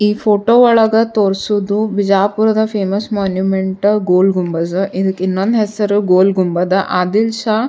ಈ ಫೋಟೊ ಒಳಗ ತೋರ್ಸೋದು ಬಿಜಾಪುರದ ಫೇಮಸ್ ಮೊನುಮೆಂಟ ಗೋಲ್ ಗುಂಬಜ್ ಇದಕ್ಕ ಇನ್ನೊಂದ್ ಹೆಸರ್ ಗೋಲ್ ಗೊಂಬದ ಆದಿಲ್ ಷಾ --